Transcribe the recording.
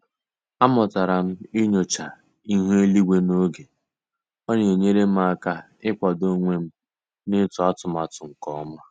A mụtara m ịnyocha ịhu eluigwe n'oge, ọ na-enyere m aka ị kwado onwem na ịtụ atụmatụ nke ọma.